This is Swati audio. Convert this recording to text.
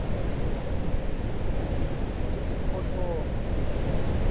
tisiphohlongo